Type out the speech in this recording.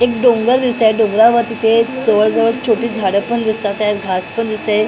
एक डोंगर दिसत आहेत डोंगरावर तिथे जवळ जवळ छोटी झाडं पण दिसतातेत घास पण दिसते.